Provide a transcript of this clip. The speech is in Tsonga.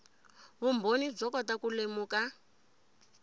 vumbhoni byo kota ku lemuka